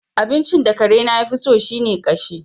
Abincin da karena ya fi so shi ne ƙashi.